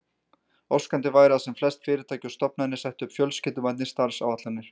Óskandi væri að sem flest fyrirtæki og stofnanir settu upp fjölskylduvænni starfsáætlanir.